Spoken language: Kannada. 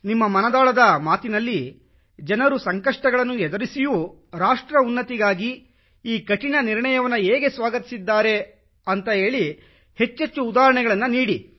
ನಿಮ್ಮ ಮನದಾಳದ ಮಾತಿನಲ್ಲಿ ಜನರು ಸಂಕಷ್ಟಗಳನ್ನು ಎದುರಿಸಿಯೂ ರಾಷ್ಟ್ರ ಉನ್ನತಿಗಾಗಿ ಈ ಕಠಿಣ ನಿರ್ಣಯವನ್ನು ಹೇಗೆ ಸ್ವಾಗತಿಸಿದ್ದಾರೆ ಎಂಬ ಕುರಿತು ಹೆಚ್ಚೆಚ್ಚು ಉದಾಹರಣೆಗಳನ್ನು ನೀಡಿ